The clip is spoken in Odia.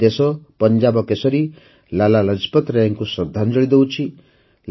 ଆଜି ଦେଶ ପଞ୍ଜାବକେଶରୀ ଲାଲା ଲଜପତ୍ ରାୟଙ୍କୁ ଶ୍ରଦ୍ଧାଞ୍ଜଳି ଦେଉଛି